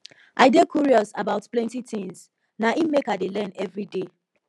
i dey curious about plenty tins na im make i dey learn everyday